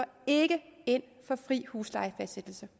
ind for fri huslejefastsættelse